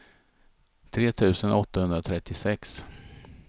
tre tusen åttahundratrettiosex